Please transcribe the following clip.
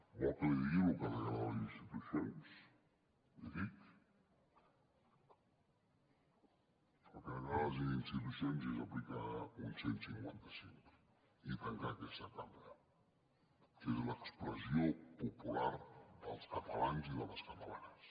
vol que li digui el que degrada les institucions l’hi dic el que degrada les institucions és aplicar un cent i cinquanta cinc i tancar aquesta cambra que és l’expressió popular dels catalans i de les catalanes